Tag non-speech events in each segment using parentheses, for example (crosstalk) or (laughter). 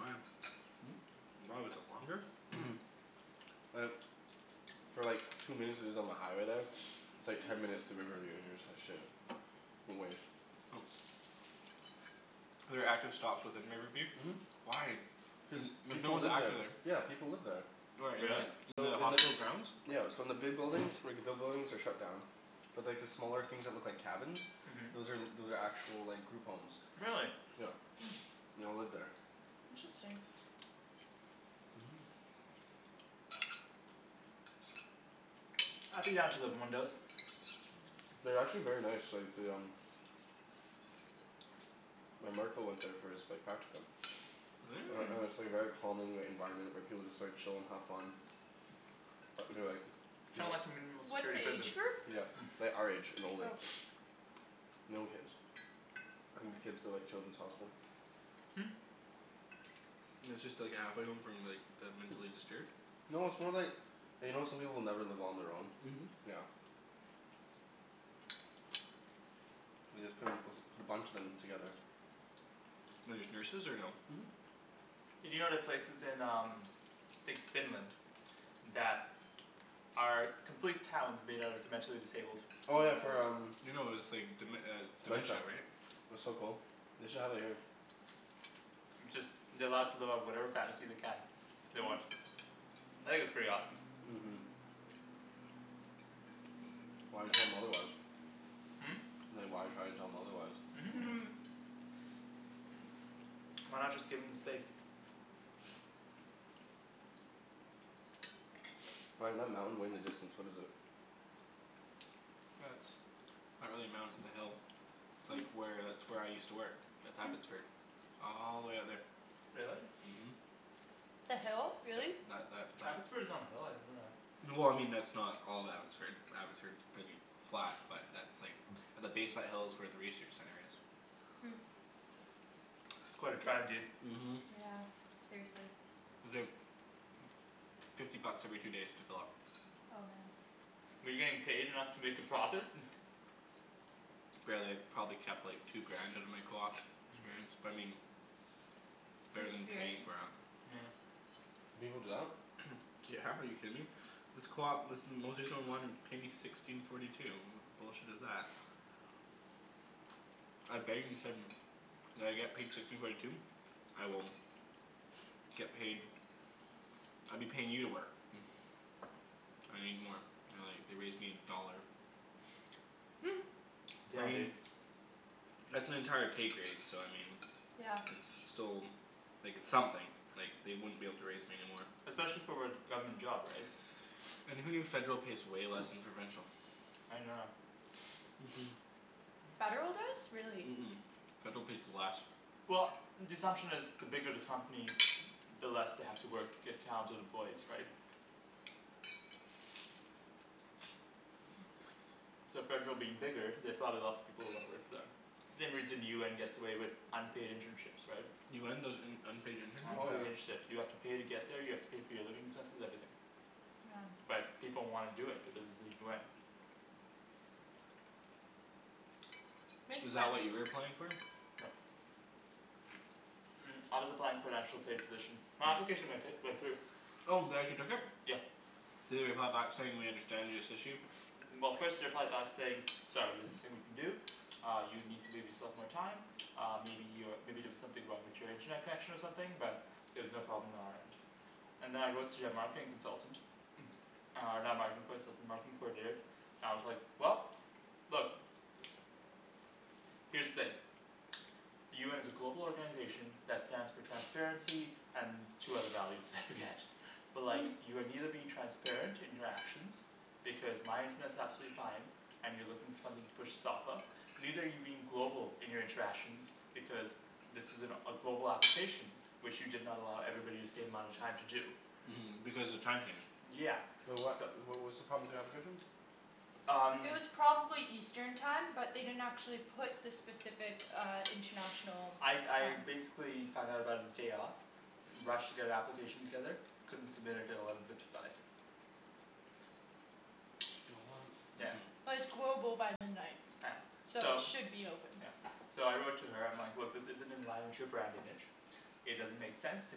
Why? Hmm? Why, was it longer? Mhm. (noise) Like For like two minutes is is on the highway there. It's like ten minutes through Riverview, and you're just like "Shit." (inaudible) (noise) There are active stops within Riverview? Mhm. Why? Cuz Like no people one's live there. active there. Yeah people live there. Where, Really? in the in So the in the hospital grounds? Yeah so in the big buildings, like the big buildings are shut down. But like the smaller things that look like cabins Mhm. those are those are actual like group homes. Really? Yeah. (noise) They all live there. Interesting. Mhm. I'd be down to living in one of those. Mm. They're actually very nice, like they um My marker went there for his like practicum. Really? And Hmm. and it's like very calming, the environment, where people like chill and have fun. Uh they're like Kind of like a minimal What's security the prison. age group? Yeah. Like (noise) our age and older. Oh. (noise) No kids. I think the kids go like Children's Hospital. Hmm. It's just like a halfway home from like the mentally disturbed? No, it's more like you know how some people will never live on their own? Mhm. Yeah. They just put a p- put a bunch of them together. And there's nurses or no? Mhm. Hey do you know the places in um like Finland that are complete towns made out of the mentally disabled. Oh yeah for um, No no it's like dem- uh dementia dementia. right? That's so cool. They should have it here. It's just they're allowed to live out whatever fantasy they can. They want. I think that's pretty awesome. Mhm. Why tell 'em otherwise? Hmm? Like why try to tell them otherwise? Mhm. Mmm. Why not just give them the space? Ryan, that mountain way in the distance, what is it? That's not really a mountain, it's a hill. It's like where, that's where I used to work. That's Abbotsford. All the way out there. Really? Mhm. The hill? Really? That that Abbotsford is on a hill? I didn't know that. Well I mean that's not all of Abbotsford, Abbotsford's pretty flat, but that's like (noise) the base of that hill is where the research center is. Hmm. That's quite a drive dude. Mhm. Yeah, seriously. It's like fifty bucks every two days to fill up. Oh man. Were you getting paid enough to make a profit? (laughs) Barely. Probably kept like two grand out of my coop experience, but I mean It's better than paying experience. for it. Yeah. People do that? (noise) Yeah, are you kidding me? This coop, this (inaudible) paid me sixteen forty two. What bullshit is that? (inaudible) said "Will I get paid sixteen forty two?" "I will" "get paid." "I'd be paying you to work." (noise) "I need more." They're like, they raised me a dollar. (laughs) I Yeah mean dude. that's an entire pay grade, so I mean Yeah. it's, it's still like, it's something. Like, they wouldn't be able to raise me anymore. Especially for what, government job right? And who knew federal pays way less than provincial? I didn't know that. Mhm. Mmm. Federal does? Really. Mhm. Federal pays less. Well the assumption is the bigger the company the less they have to work to get counted employees right? So federal being bigger, they have probably lots of people who wanna work for them. Same reason UN gets away with unpaid internships, right? UN does un- unpaid Oh yeah. internships? Unpaid internships, you have to pay to get there, you have to pay for your living expenses, everything. Yeah. But people wanna do it because it's the UN. Is Makes that what you sense. were applying for? No. Mm I was applying for an actual paid position. My application went hi- went through. Oh, they actually took it? Yeah. Did they reply back saying "We understand this issue?" (noise) Well first they replied back to say "Sorry there's nothing we can do." "Uh you need to leave yourself more time." "Uh maybe you're, maybe there was something wrong with your internet connection or something, but" "there's no problem on our end." And then I wrote to their marketing consultant. (noise) Uh and (inaudible) with the marketing coordinator. And I was like, "Well, look." "Here's the thing." "The UN is a global organization that stands for transparency and two other values, I forget." "But like, (laughs) you are neither being transparent in your actions, because my internet's absolutely fine." "And you're looking for something to push this off of." "Neither are you being global in your interactions, because this is an a global application" "which you did not allow everybody the same amount of time to do." Mhm, because the time changed. Yeah. Wait what, So wh- what's the problem with the application? Um It was probably eastern time, but they didn't actually put the specific uh international I time. I basically found out about it day of. Rushed to get an application together. Couldn't submit it at eleven fifty five. (noise) Yeah. Mhm. But it's global by midnight. Yeah. So it So should be open. Yeah. So I wrote to her, I'm like "Look, this isn't in line with your brand image." "It doesn't make sense to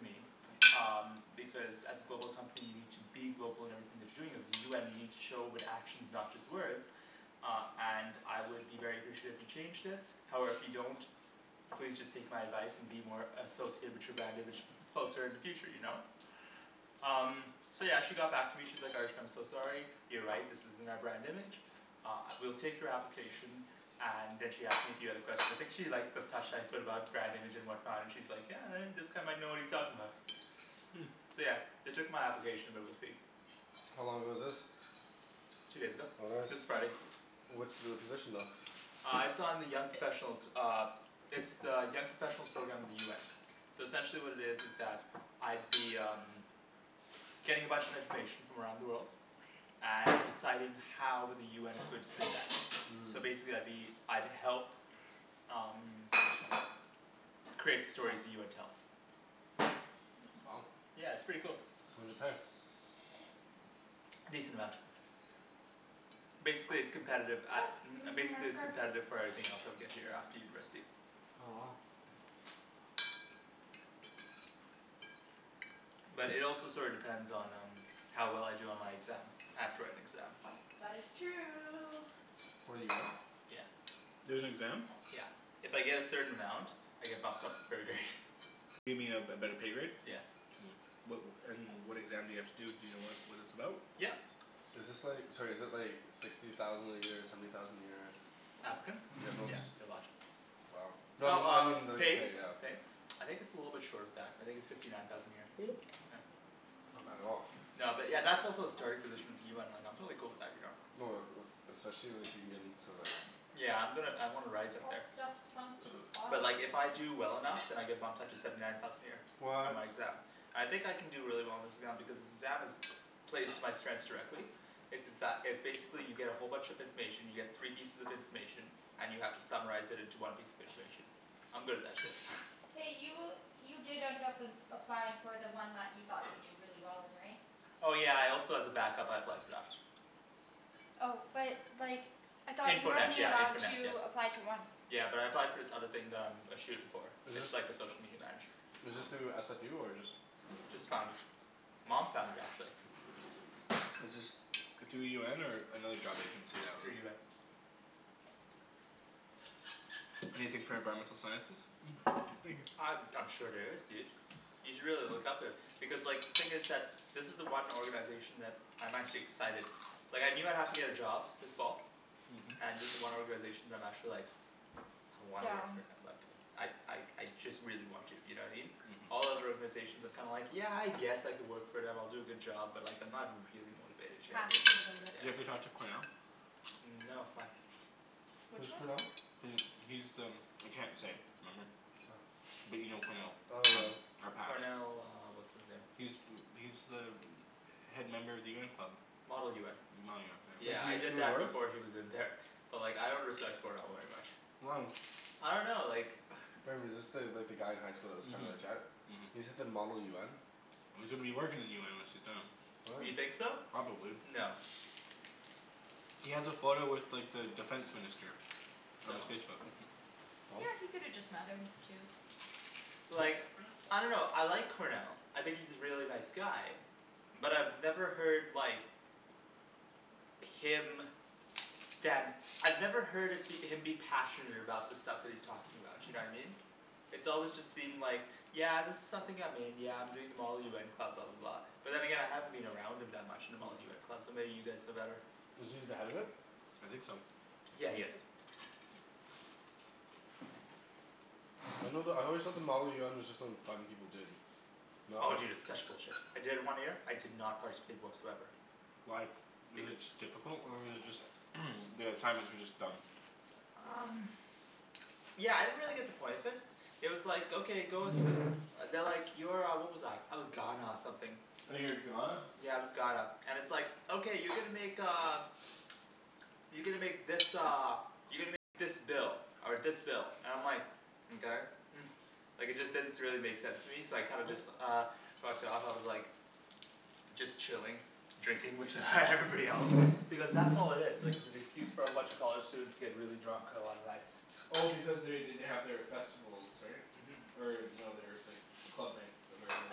me." "Um because as a global company, you need to be global in everything that you're doing. As the UN you need show it with actions, not just words." "Uh and I would be very appreciate if you changed this." "However if you don't, please just take my advice and be more associated with your brand image closer in the future, you know? Um So yeah, she got back to me, she's like "Arjan, I'm so sorry." You're right, this isn't our brand image. (noise) Uh, we'll take your application. And then she asked me a few other questions. I think she liked the touch that I put about brand image and whatnot. And she's like "Yeah, uh this guy might know what he's talking about." Hmm. So yeah. They took my application but we'll see. How long ago was this? Two days ago. Oh nice. This Friday. What's the position though? Uh it's on the young professionals uh It's the young professionals program of the UN. So essentially what it is is that I'd be um getting a bunch of information from around the world. And deciding how with the UN is going to spin that. Mmm. So basically I'd be, I'd help um create the stories the UN tells. Wow. Yeah, it's pretty cool. What does it pay? (noise) A decent amount. Basically it's competitive, a- (noise) You're um gonna see my basically it's scarf. competitive for everything else I would get here after university. Oh. But it also sorta depends on um how well I do on my exam. I have to write an exam. That is true. For the UN? Yeah. There's an exam? Yeah. If I get a certain amount I get bumped up a pro grade. You mean a a better pay grade? Yeah. Mmm. What and what exam do you have to do, do you know what what it's about? Yep. Is this like, sorry is it like sixty thousand a year, seventy thousand a year? Applicants? Yeah, no Yeah, just they're a lot. Wow. No I Well mean, I mean um, like pay? pay, yeah. I think it's a little bit short of that. I think it's fifty nine thousand a year. (noise) Yeah. Not bad at all. No but yeah, that's also a starting position of UN, like I'm totally cool with that, you know. Oh like uh especially if you get in to like Yeah I'm gonna I wanna rise up All there. this stuff sunk to the But bottom. like if I do well enough then I get bumped up to seventy nine thousand a year. On What my exam. I think I can do really well on this exam because this exam is plays to my strengths directly. It's it's that, it's basically you get a whole bunch of information, you get three pieces of information and you have to summarize it into one piece of information. I'm good at that shit. (laughs) Hey, you you did end up applying for the one that you thought you'd do really well in, right? Oh yeah I also as a backup I applied for that. Oh but like I thought you Info were net only yeah, info allowed net yeah. to apply to one. Yeah but I applied for this other thing that I'm a shoo in for. It's like the social media manager. Is this Ah. through SFU or just Just found it. Mom found it actually. Is this through UN or another job agency that Through was UN. Anything for environmental sciences? Mhm. Thank you. Uh I'm sure there is dude. You should really look up it. Because like, thing is that this is the one organization that, I'm actually excited. Like I knew I'd have to get a job this fall. Mhm. And this is the one (noise) organization that I'm actually like I wanna work Down. for and I'd like I like I just really want to, you know what I mean? All Mhm. other organizations I'm kinda like, yeah I guess I could work for them, I'll do a good job, but like I'm not really motivated, you know what I mean? Passionate about it. Do you ever talk to Cornell? Mm no, why? Which Who's one? Cornell? He, he's the I can't say. Remember? Oh. But you know Cornell. Oh no. Our patch. Cornell uh what's his name. He's He's the head member of the UN club. Model UN. Model UN, yeah. Wait, Yeah did he I used to did go that north? before he was in there. But like I don't understand Cornell very much. Why? I dunno like (noise) Remember, is this the, like the guy in high school that was kind of a Mhm. jet? He's at the model UN? Well, he's gonna be working in the UN once he's done. What? You think so? Probably. No. He has a photo with like the defense minister. On his So? Facebook. (laughs) Yeah, he could have just met him too. But like (noise) I dunno, I like Cornell. I think he's a really nice guy. But I've never heard like him stand I've never heard of him be passionate about the stuff that he's talking about, you know what I mean? It's always just seemed like "Yeah this is something I'm in, yeah I'm doing the model UN club," blah blah blah. But then again I haven't been around him that much in the Model UN club, so maybe you guys know better. Was he the head of it? I think so. Yeah he is. I know the, I always thought the model UN was just like fun people did. No? Oh dude, it's such bullshit. I did it one year, I did not participate whatsoever. Why? Was it beca- just difficult or was it just (noise) the assignments were just dumb? Um Yeah, I didn't really get the point of it. It was like okay, go s- They're like, you're uh, what was I, I was Ghana something. Oh, you were Ghana? Yeah, I was Ghana. And it's like "Okay you're gonna make uh" You're gonna make this uh you're gonna make this bill." Or this bill. And I'm like "Mkay." (laughs) Like it just didn't s- really make sense to me, so I kinda just uh fucked off, I was like just chilling. Drinking with (laughs) everybody else. Because that's all it is. Like it's an excuse for a bunch of college students to get really drunk on a lot of nights. Well because they they they have their festivals, right? Mhm. Or no their like club nights, where everyone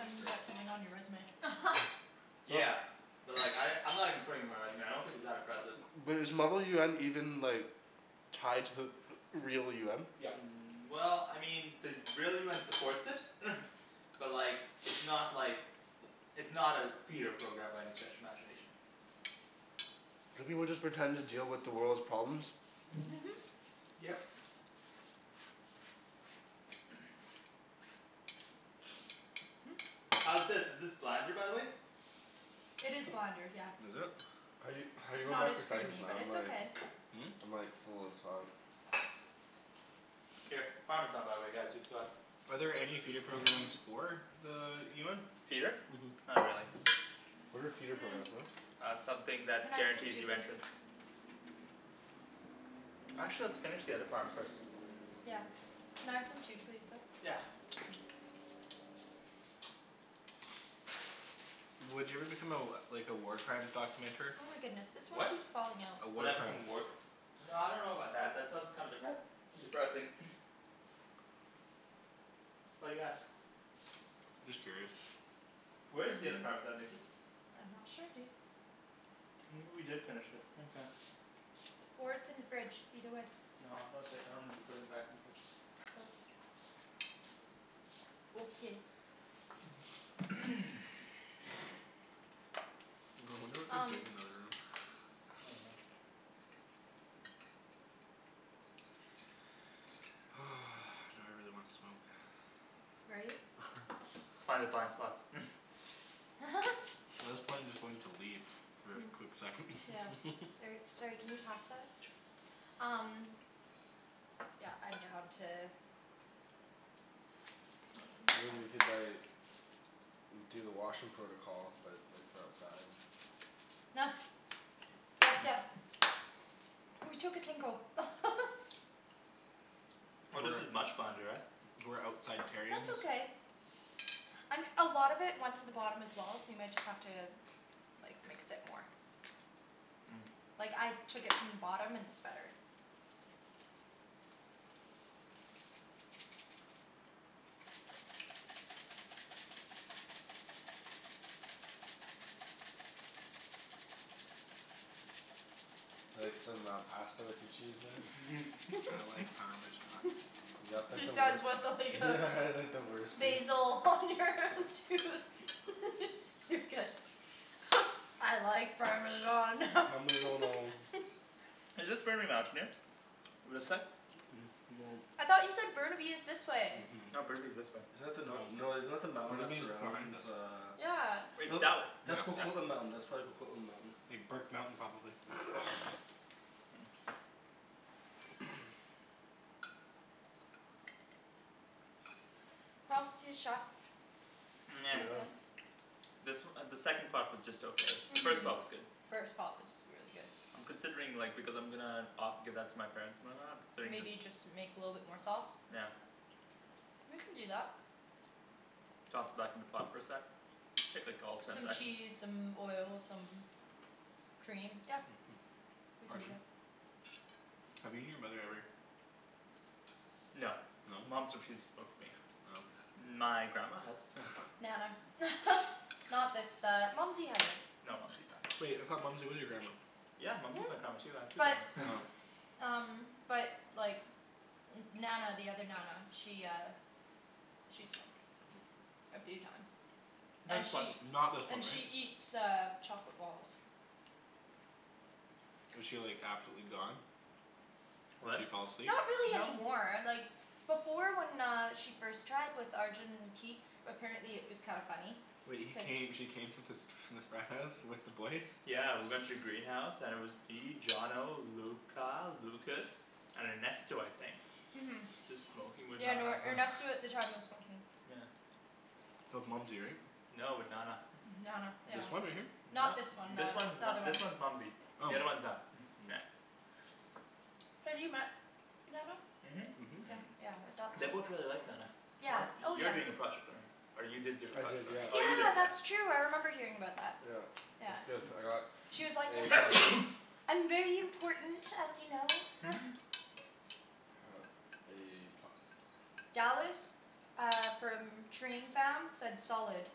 just drinks. get something on your resume. (laughs) But Yeah. But like I, I'm not even putting it on my resume. I don't think it's that impressive. But is model UN even like tied to the real UN? Yep. Mm well, I mean, the real UN supports it. (laughs) But like it's (noise) not like it's not a feeder program by any stretch of imagination. Do people just pretend to deal with the world's problems? (laughs) Yep. How's this, is this blander by the way? It is blander, yeah. Was it? How you (noise) How you It's going not back as for seconds creamy, man, but I'm it's like okay. I'm like full as fuck. Here. Parmesan by the way guys, you forgot. Are there any feeder programs for the UN? Feeder? Mhm. Not really. What are feeder Mmm. programs, what? Uh something Can that I have some guarantees too, you please? entrance. Actually let's finish the other parm first. Yeah. Can I have some too please, though? Yeah. Would you ever become a like a war crimes documenter? Oh my goodness, this one What? keeps falling out. A Would war I become crime. a work No I dunno about that, that sounds kinda depres- depressing. (noise) Why do you ask? Just curious. Where is the other parmesan Nikki? I'm not sure dude. Maybe we did finish it, okay. Or it's in the fridge, either way. No, no okay, I don't remember putting it back in the fridge. Oh. Okay. (noise) I wonder what they're Um doing in the other room. (laughs) Oh well. (noise) Now I really wanna smoke. Right? (laughs) Let's find the blind spots. (laughs) (laughs) Well this plane is going to leave for a Hmm. quick second. Yeah. (laughs) Or, sorry, can you pass that? Um Yeah, I'm down to I mean we could like do the washroom protocol, but like for outside. (laughs) Gracias. Ooh, we took a tinkle. (laughs) Oh this is much blander, eh? We're outside terrions. That's okay. (noise) Um a lot of it went to the bottom as well, so you might just have to like, mix it more. Mm. Like, I took it from the bottom and it's better. Like some uh pasta with your cheese there? I (laughs) like (laughs) parmesan. (laughs) You got like He the wei- says what (inaudible) Yeah like the worst piece. Basil on your tooth. (laughs) You're good. (laughs) I like parmesan. (laughs) Parmeggiano. Is this Burnaby Mountain here? This side? (noise) No. I thought you said Burnaby is this way. Mhm. No, Burnaby's this way. Isn't that the nor- no, isn't that the mountain that Burnaby is behind surrounds us. uh Yeah. It's that w- That's Yeah. Coquitlam Mountain. That's probably Coquitlam Mountain. Big Burke Mountain probably. (noise) (noise) (noise) Props to the chef. Pretty (noise) good. This uh the second pot was just okay. The first pot was good. First pot was really good. I'm considering like, because I'm gonna o- give that to my parents and then uh considering Maybe just you just make a little bit more sauce. Yeah. We can do that. Toss it back in the pot for a sec. Take like all of ten Some seconds. cheese, some oil, some cream, yep. We can do Arjan? that. Have you and your mother ever No. No? Mom's refused to smoke with me. Oh. My grandma has. (laughs) Nana. (laughs) Not this uh, Mumsy hasn't. No Mumsy's awesome. Wait, I thought Mumsy was your grandma? Yeah Mumsy is my (laughs) grandma too. I have two But grandmas. (laughs) um But like N- Nana the other Nana, she uh She smoked. A few times. Nah And just once. she Not this one, And right? she eats uh chocolate balls. Was she like absolutely gone? She What? fall asleep? Not really No. anymore, like before when she uh first tried, with Arjan in teaks, apparently it was kinda funny. Wait, he came, she came to fas- the frat house with the boys? Yeah we went to the greenhouse and it was me, Johnno, Luca, Lucas, and Ernesto I think. Mhm. Just smoking with Yeah no, Nana. Ernesto (laughs) at the time was smoking. Yeah. That was Mumsy, right? No, with Nana. Nana, yeah. This one right here? No. Not this one This then. one's The n- other one. this one's Mumsy. The Oh. other's one Na- (noise) Yeah. Have you met Nana? Mhm. Yeah yeah, I thought They so. both really liked Nana. One Yeah, of, oh you're yeah. doing a project on her. Or you did do a I project did, on her. yeah. Oh you did, Yeah yeah. that's true, I remember hearing about that. Yeah. It was Yeah. good. I got She was like A "Yes!" plus. (noise) "I'm very important, as you know." (laughs) (laughs) (noise) A plus. Dallas. Uh from train fam, said solid.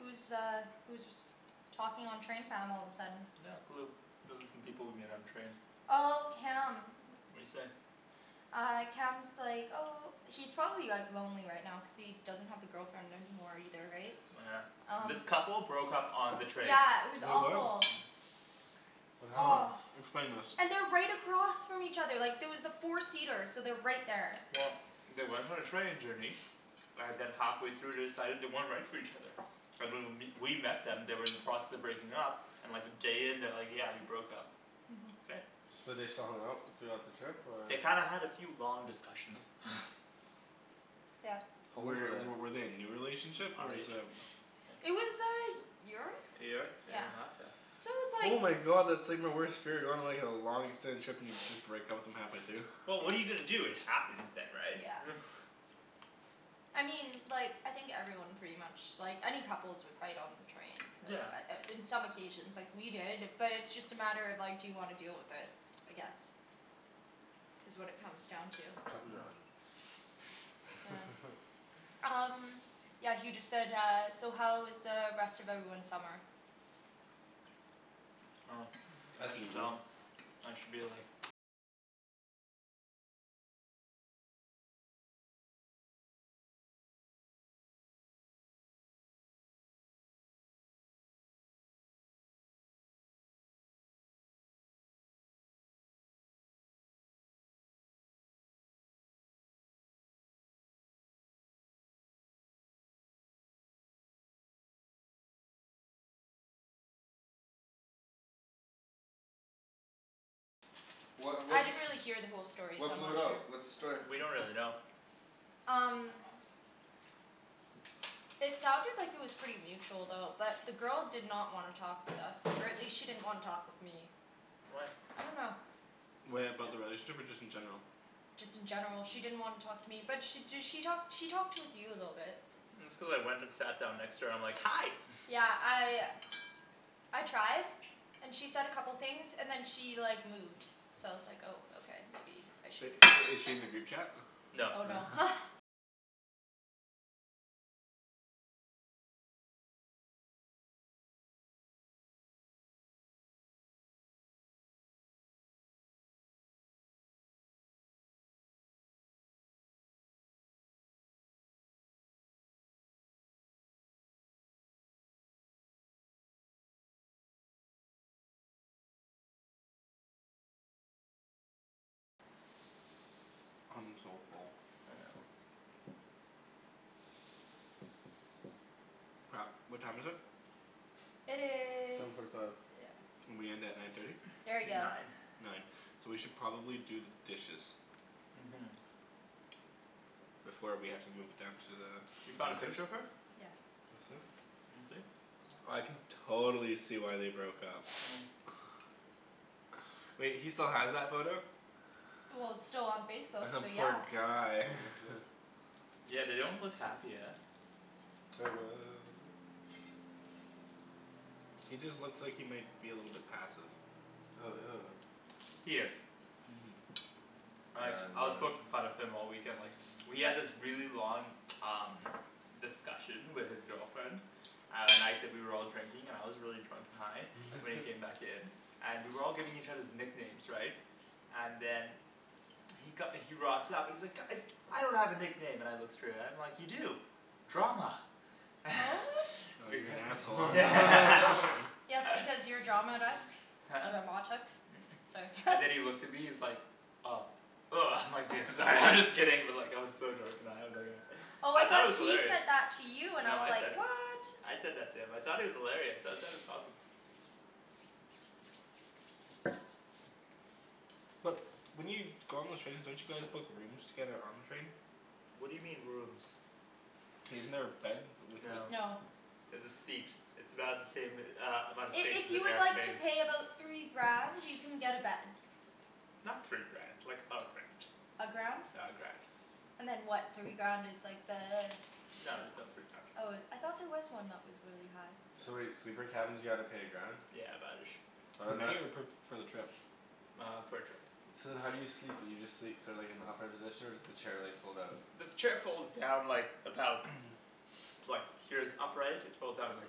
Who's uh who's was talking on train fam all of a sudden? Not a clue. Those are some people we met on the train. Oh, Cam. What'd he say? Uh Cam's like, oh He's probably like lonely right now cuz he doesn't have the girlfriend anymore either, right? Oh yeah. Um This couple broke up on the train. Yeah, it was Wait what? awful. What happened? Oh. Explain this. And they're right across from each other, like there was a four seater, so they're right there. Well they went on a training journey. And then halfway through they decided they weren't right for each other. (noise) And when w- we met them they were in the process of breaking up and like a day in they're like "Yeah, we broke up." Mhm. Okay. So they still hung out throughout the trip or? They kinda had a few long discussions. (laughs) Yep. How old were Were w- they? were they a new relationship or is um It was a y- year? A year, a year and a half? Yeah. So it was Oh like my god, that's like my worst fear, going on like a long extended trip and you just break up with them halfway through. Well what are you gonna do, it happens then right? Yeah. (laughs) I mean like, I think everyone pretty much, like any couples would fight on the train. Yeah. Uh in some occasions. Like we did, but it's just a matter of, like, do you wanna deal with it. I guess. Is what it comes down to. Cut and Hmm. run. Yeah. (laughs) Um Yeah he just said uh, "So how was uh rest of everyone's summer?" Oh. Ask That's me, boo. dumb. I should be like What I what d- didn't really hear the whole story so What I'm blew not it out? sure. What's the story? We don't really know. Um It sounded like it was pretty mutual though. But the girl did not wanna talk with us, or at least she didn't wanna talk with me. Why? I dunno. Wait, about the relationship or just in general? Just in general she didn't wanna talk to me. But she d- she talked she talked with you a little bit. It's cuz I went and sat down next to her, I'm like "Hi." (laughs) Yeah, I I tried. And she said a couple things, and then she like moved. So I was like oh okay, maybe I But shouldn't i- is she in the group chat? (noise) No. Oh no. (laughs) I'm so full. I know. Crap. What time is it? It Seven is forty five. Yeah. We end at nine thirty? Very good. Nine. Nine. So we should probably do the dishes. Mhm. Before we have to move it down to the You found a picture of her? Yeah. That's it? Let me see. I can totally see why they broke up. (noise) (noise) Wait, he still has that photo? Well it's still on (laughs) Facebook, The so poor yeah. guy. (inaudible) (laughs) Yeah they don't look happy, eh? (inaudible) He just looks like he might be a little bit passive. Oh, ew. He is. Mhm. Like, Damn I was man. poking fun of him all weekend, like We had this really long um discussion with his girlfriend at night that we were all drinking, and I was really drunk and high. So when (noise) he came back in and we were all giving each others nicknames, right? And then he co- he rocks up and he's like "Guys!" "I don't have a nickname." And I look straight at him, I'm like, "You do. Drama." (noise) (laughs) Oh you're an asshole. (laughs) (laughs) Yes because you're drama, right? Huh? Dramatic? It's like And then (laughs) he looked at me, he's like, "Oh." Woah I'm like, "Dude I'm sorry, I'm just kidding." But like I was so drunk and high I was like uh Oh I I thought thought it was he hilarious. said that to you, and I No was I like, said it. what? I said that to him. I thought it was hilarious, I thought it was awesome. But, when you go on the trains don't you guys book rooms together on the train? What do you mean rooms? Isn't there a bed? No. No. There's a seat. It's about the same uh amount of I- space if as an you would like to airplane. pay about three grand, you can get a bed. Not three grand. Like a grand. A grand? Yeah, a grand. And then what, three grand is like the No there's no three grand. Oh it, I thought there was one that was really high. So wait, sleeper cabins you gotta pay a grand? Yeah about ish. Oh Per and that night or per, for the trip? Uh for the trip. So then how do you sleep, do you just sleep so like in the upright position? Or does the chair like fold out? The chair folds down like, about (noise) (noise) like, here's upright, it folds out about